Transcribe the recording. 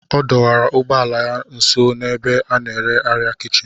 Ọ dọwara ụgbọ ala ya nso n'ebe a na-ere arịa kichin